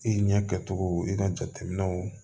I ɲɛ kɛcogo i ka jateminɛw